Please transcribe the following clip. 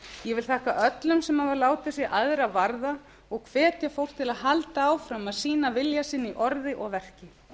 vil þakka öllum sem hafa látið sig aðra varða og hvetja fólk til að halda áfram að sýna vilja sinn í orði og verki